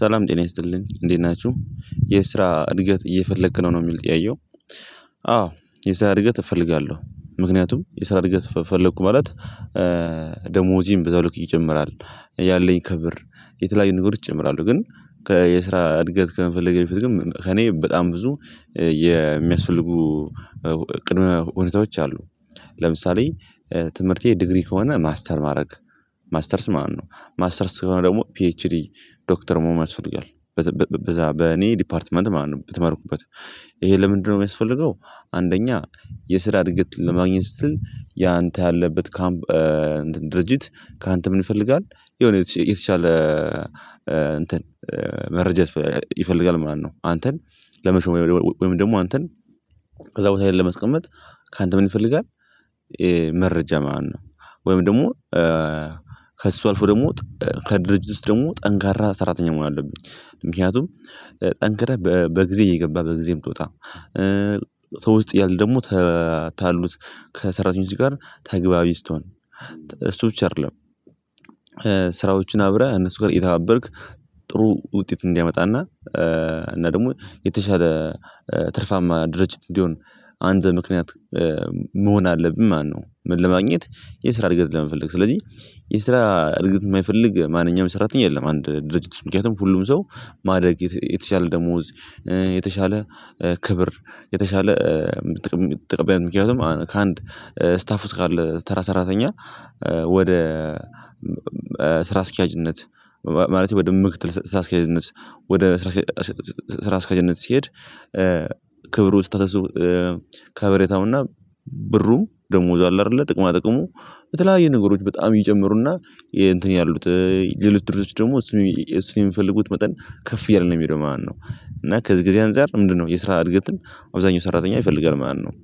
ሰላም ጤና ይስጥልን እንዴት ናችሁ። የስራ እድገት እየፈለክ ነው ነው የሚል ጥያቄው አዎ የሰራ እድገት እፈልጋለሁ ምክንያቱም የስራ እድገት ፈለኩ ማለት ደሞዜም በዛው ልክ ይጨምራል። ያለኝ ክብር የተለያዩ ነገሮች ይጨምራሉ። ግን ከየስራ እድገት ከመፈለጌ በፊት ግን ከእኔ በጣም ብዙ የሚያስፈልጉ ቅድመ ሁኔታዎች አሉ። ለምሳሌ ትምህርቴ ድግሪ ከሆነ ማስተር ማድረግ ማስተርስ ማን ነው ማስተርስ ከሆነ ደግሞ ፒኤችዲ ዶክተር ሞመን ያስፈልጋል በዛ በኔ ዲፓርትመንት በተማርኩበት ይሄ ለምንድነው የሚያስፈልገው አንደኛ የስራ እድገት ለማግኘት ስትል ያንተ ያለበት ካምፕ ድርጅት ካንተ ምን ይፈልጋል የሆነ የተሻለ እ እንትን መረጀት ይፈልጋል ማለት ነው። አንተን ለመሾሙ ወይም ደግሞ አንተን ከዛ ቦታ ላይ ለመስቀመጥ ካንተ ምን ይፈልጋል መረጃ ማን ነው ወይም ደግሞ ከእሱ አልፎ ደግሞ ከድርጅት ውስጥ ደግሞ ጠንካራ ሰራተኛ መሆን አለብኝ ምክንያቱም ጠንክረህ በጊዜ እየገባህ በጊዜም ብትወጣ ተውት ያሉት ታሉት ከሰራተኞች ጋር ተግባቢ ስትሆን እሱ ብቻ አይደለም። ስራዎችን አብረህ እነሱ ጋር እየተባበርክ ጥሩ ውጤት እንዲያመጣና እና ደግሞ የተሻለ ትርፋማ ድርጅት እንዲሆን አንድ ምክንያት መሆን አለብን ማነው ምን ለማግኘት የስራ እድገት ለመፈለግ ስለዚህ የስራ እድገት የማይፈልግ ማንኛውም ሰራተኛ የለም አንድ ድርጅት ምክንያቱም ሁሉም ሰው ማደግ የተሻለ ደሞዝ የተሻለ ክብር የተሻለ ምትጠብ ምክንያቱም ከአንድ ስታፍ ውስጥ ካለ ተራ ሰራተኛ ወደ ስራ አስኪያጅነት ማለት ወደ ምክትል ስራ አስኪያጅነት ወደ ስራ አስኪያጅነት ሲሄድ ክብሩ ስታተሱ ከበሬታውና ብሩ ደሞዙ አለ አይደለ ጥቅማ ጥቅሙ በተለያየ ነገሮች በጣም እየጨመሩና እንትን ያሉት ሌሎች ድርጅቶች ደግሞ እሱን የሚፈልጉት መጠን ከፍ እያለ ነው የሚሄደው ማለት ነው ከዚህ ጊዜ አንፃር ምንድነው የስራ እድገትን አብዛኛው ሰራተኛ ይፈልጋል ማለት ነው።